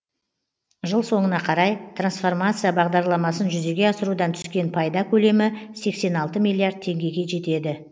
жыл соңына қарай трансформация бағдарламасын жүзеге асырудан түскен пайда көлемі сексен алты миллиард теңгеге жетеді